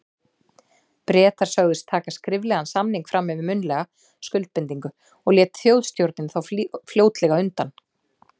Bretar sögðust taka skriflegan samning fram yfir munnlega skuldbindingu, og lét Þjóðstjórnin þá fljótlega undan.